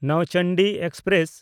Nauchandi express